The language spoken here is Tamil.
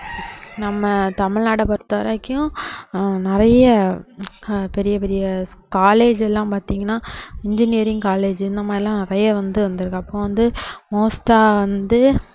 நம்ம தமிழ்நாடை பொறுத்தவரைக்கும் ஹம் நிறைய ஆஹ் பெரிய பெரிய college எல்லாம் பாத்தீங்கன்னா engineering college இந்த மாதிரியெல்லாம் நிறைய வந்து வந்துருக்கு அப்போ வந்து most ஆ வந்து